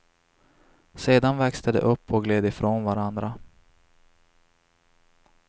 Sedan växte de upp och gled ifrån varandra.